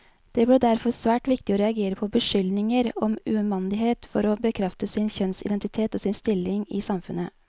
Det ble derfor svært viktig å reagere på beskyldninger om umandighet for å bekrefte sin kjønnsidentitet, og sin stilling i samfunnet.